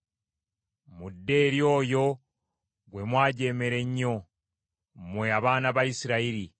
Mudde eri oyo gwe mwajeemera ennyo, mmwe abaana ba Isirayiri.